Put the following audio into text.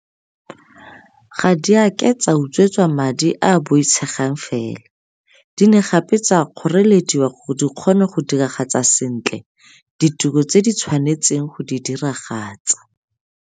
Ga di a ke tsa utswetswa madi a a boitshegang fela, di ne gape tsa kgorelediwa gore di kgone go diragatsa sentle ditiro tse di tshwanetseng go di diragatsa.